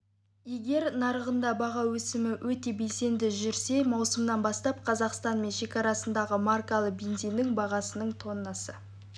егер нарығында баға өсімі өте белсенді жүрсе маусымнан бастап қазақстан мен шекарасындағы маркалы бензиннің бағасының тоннасы